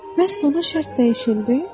Bəs sonra şərt dəyişildi?